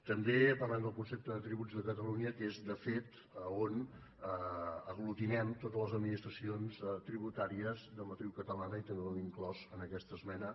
també parlem del concepte de tributs de catalunya que és de fet on aglutinem totes les administracions tributàries de matriu catalana i també ho hem inclòs en aquesta esmena